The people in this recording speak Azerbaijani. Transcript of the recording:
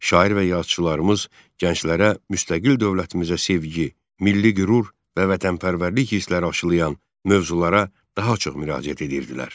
Şair və yazıçılarımız gənclərə müstəqil dövlətimizə sevgi, milli qürur və vətənpərvərlik hissləri aşılayan mövzulara daha çox müraciət edirdilər.